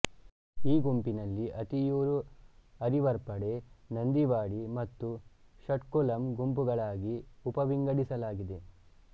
ಈ ಗುಂಪಿನಲ್ಲಿ ಅಥಿಯೂರು ಅರಿವರ್ಪಡೆ ನಂದಿವಾಡಿ ಮತ್ತು ಷಟ್ಕುಲಂ ಗುಂಪುಗಳಾಗಿ ಉಪವಿಂಗಡಿಸಲಾಗಿದೆ